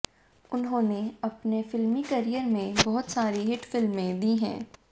उन्होंने अपने फिल्मी करियर में बहुत सारी हिट फिल्में दी हैं